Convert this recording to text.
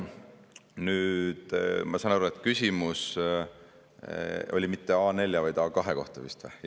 Nüüd, ma saan aru, et küsimus oli mitte A4, vaid A2 kohta vist?